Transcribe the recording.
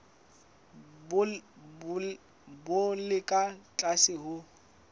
bo le ka tlase ho